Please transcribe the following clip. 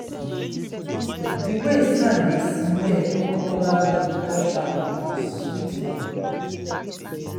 the way sand dey smell whenever rain touch am dey sweet me.